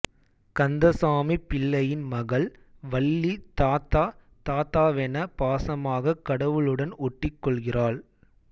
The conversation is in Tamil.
கந்தசாமிப் பிள்ளையின் மகள் வள்ளி தாத்தா தாத்தாவென பாசமாகக் கடவுளுடன் ஒட்டிக் கொள்கிறாள்